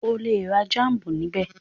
O lè ra jámù níbẹ̀.